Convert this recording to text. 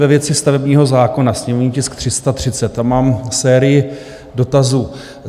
Ve věci stavebního zákona, sněmovní tisk 330, tam mám sérii dotazů.